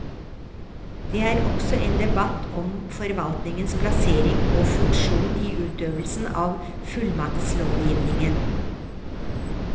Det var også en debatt om forvaltningens plassering og funksjon i utøvelsen av fullmaktslovgivningen.